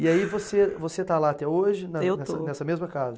E aí você você está lá até hoje. Eu estou. Nessa mesma casa?